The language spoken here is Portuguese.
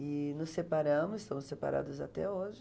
E nos separamos, estamos separados até hoje.